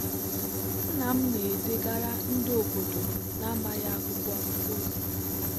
nna m na-edegara ndị obodo na-amaghị akwụkwọ ozi.